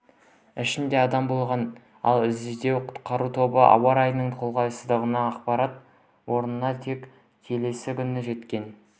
ішінде адам болған ал іздеу-құтқару тобы ауа райының қолайсыздығынан апат орнына тек келесі күні жеткен